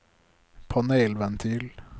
panelventil